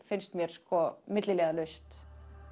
finnst mér milliliðalaust